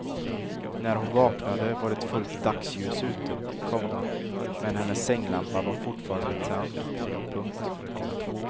När hon vaknade var det fullt dagsljus ute, komma men hennes sänglampa var fortfarande tänd. punkt